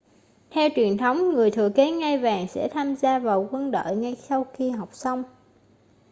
theo truyền thống người thừa kế ngai vàng sẽ tham gia vào quân đội ngay sau khi học xong